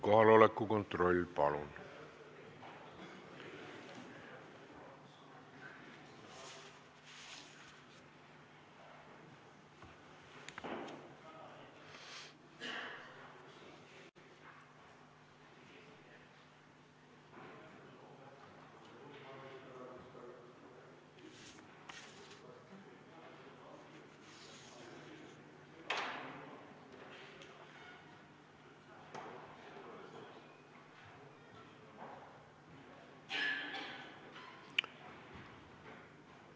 Kohaloleku kontroll, palun!